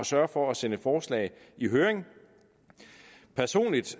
sørge for at sende forslag i høring personligt